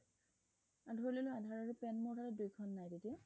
ধৰি ললো আধাৰ আৰু pan দুইখন নাই মোৰ লগত তেতিয়া